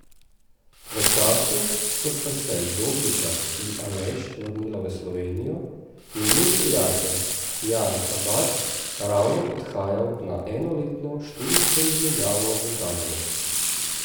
V času, ko sta se Dobnikar in Aleš vrnila v Slovenijo, je njun prijatelj Jan Habat ravno odhajal na enoletno študijsko izmenjavo v Kanado.